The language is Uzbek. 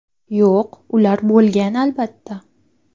Yo‘q, ular bo‘lgan, albatta.